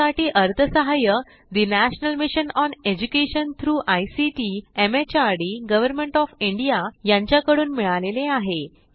यासाठी अर्थसहाय्य national mission on education through ICT MHRD government of India यांच्याकडून मिळालेले आहे